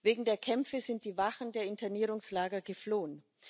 Wegen der Kämpfe sind die Wachen der Internierungslager geflohen.